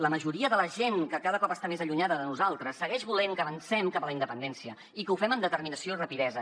la majoria de la gent que cada cop està més allunyada de nosaltres segueix volent que avancem cap a la independència i que ho fem amb determinació i rapidesa